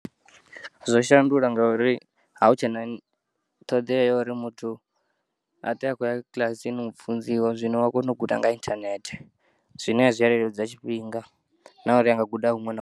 Zwo shandula ngauri a hu tshena ṱhoḓea yauri muthu aṱwe a khoya kiḽasini u funziwa zwino u ya kona u guda nga inthanethe zwine zwiyaleludza tshifhinga nauri anga guda huṅwe na.